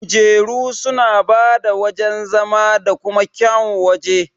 Kujeru suna bada wajan zama da kuma kyaun waje.